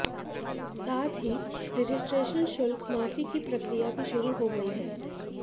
साथ ही रजिस्ट्रेशन शुल्क माफी की प्रक्रिया भी शुरू हो गई है